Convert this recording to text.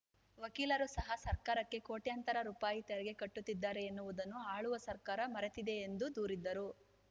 ವಕೀಲರು ಸಹ ಸರ್ಕಾರಕ್ಕೆ ಕೋಟ್ಯಾಂತರ ರೂಪಾಯಿ ತೆರಿಗೆ ಕಟ್ಟುತ್ತಿದ್ದಾರೆ ಎನ್ನುವುದನ್ನು ಆಳುವ ಸರ್ಕಾರ ಮರೆತಿದೆ ಎಂದು ದೂರಿದರು